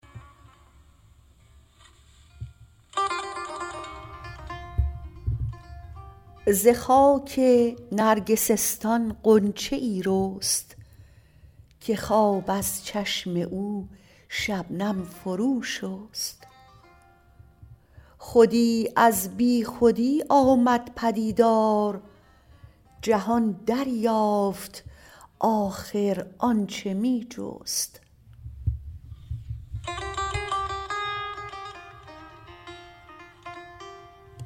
ز خاک نرگسستان غنچه یی رست که خواب از چشم او شبنم فرو شست خودی از بیخودی آمد پدیدار جهان دریافت آخر آنچه می جست